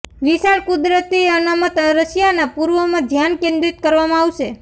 વિશાળ કુદરતી અનામત રશિયાના પૂર્વમાં ધ્યાન કેન્દ્રિત કરવામાં આવે છે